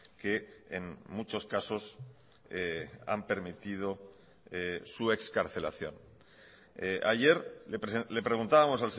que en muchos casos han permitido su excarcelación ayer le preguntábamos